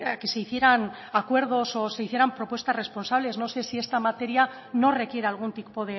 que se hicieran acuerdos o se hicieran propuestas responsables no sé si esta materia no requiere algún tipo